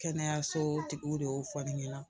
Kɛnɛyaso tigiw de y'o fɔ ne ɲɛna